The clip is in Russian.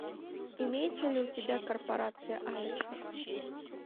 имеется ли у тебя корпорация алекса